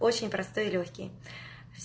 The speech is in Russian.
очень простые лёгкие